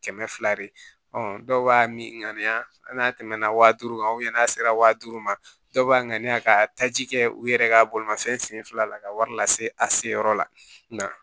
Kɛmɛ fila de dɔw b'a min ŋaniya hali n'a tɛmɛ na wa duuru kan n'a sera wa duuru ma dɔw b'a ŋaniya ka taji kɛ u yɛrɛ ka bolimafɛn senfila la ka wari lase a se yɔrɔ la nka